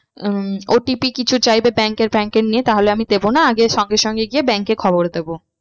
হম OTP কিছু চাইবে bank এর bank এর নিয়ে তাহলে আমি দেব না আগে সঙ্গে সঙ্গে গিয়ে bank এ খবর দেবো।